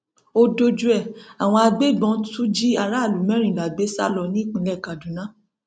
ó dojú ẹ àwọn agbébọn tú jí aráàlú mẹrìnlá gbé sá lọ nípínlẹ kaduna